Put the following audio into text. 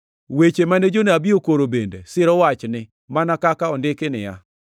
Weche mane jonabi okoro bende siro wachni mana kaka ondiki niya,